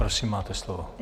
Prosím, máte slovo.